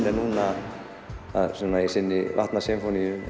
er núna í sinni vatnasinfóníu í